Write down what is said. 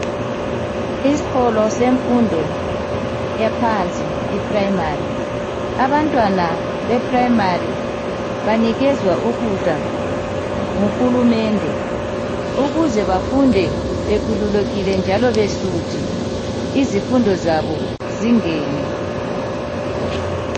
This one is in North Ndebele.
Esikolo semfundo yaphansi i-Primary abantwana be primary banikezwa ukudla nguhulumende ukuze bafunde bekhululekile njalo besuthi izifundo zabo zingene